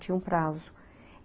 Tinha um prazo.